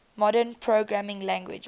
modern programming languages